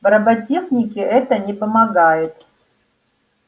в роботехнике это не помогает